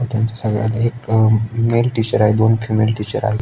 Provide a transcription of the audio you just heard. त्यांच्या सगळ्यांच एक अ मेल टीचर आहे दोन फीमेल टिचर्स आहे.